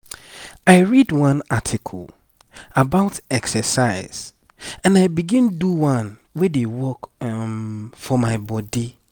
i read one article about exercise and i begin do one wey dey work um for my body.